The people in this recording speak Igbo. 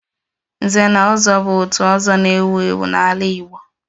Nze na ozo bu òtù ọzọ na-ewu ewu n'ala Igbo